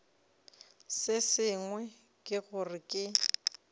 se sengwe ke gore ke